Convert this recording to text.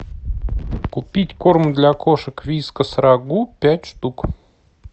купить корм для кошек вискас рагу пять штук